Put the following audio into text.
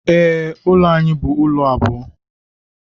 Ee, ụlọ anyị bụ ụlọ abụọ.